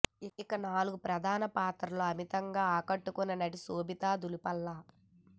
ఇక నాలుగు ప్రధాన పాత్రలలో అమితంగా ఆకట్టుకున్న నటి శోభితా దూళిపాళ్ల